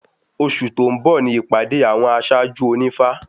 Oṣù tó ń bọ̀ ni ìpàdé àwọn aṣáájú ònífá